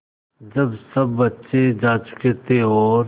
जब सब बच्चे जा चुके थे और